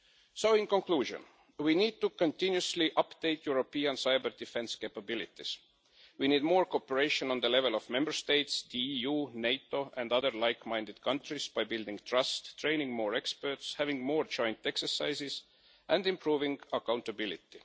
So in conclusion, we need to continuously update European cyber-defence capabilities. We need more cooperation at the level of Member States, the EU, NATO and other like minded countries by building trust, training more experts, having more joint exercises and improving accountability.